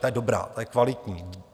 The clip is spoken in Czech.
Ta je dobrá, ta je kvalitní.